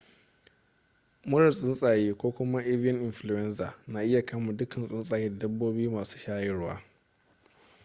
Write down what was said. murar tsuntsaye ko kuma avian influenza na iya kama duka tsuntsaye da dabbobi masu shayarwa